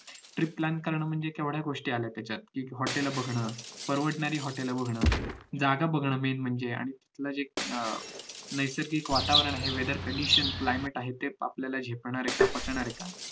trip plan कारण म्हणजे केवठ्या गोष्टी आलाय त्याच्यात hotel बघणं परवडणारी hotel बघणं जागा बघणं main म्हणजे अं नैसर्गिक वातावरण आहे weather condition climate जे आहे ते आपल्याला झेपणार आहे का पचणार आहे का